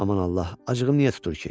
Aman Allah, acığım niyə tutur ki?